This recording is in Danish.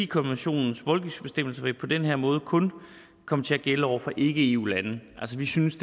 konventionens voldgiftbestemmelse vil på den her måde kun komme til at gælde over for ikke eu lande altså vi synes